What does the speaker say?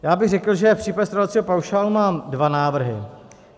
Já bych řekl, že v případě stravovacího paušálu mám dva návrhy.